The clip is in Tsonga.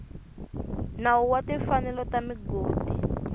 nawu wa timfanelo ta migodi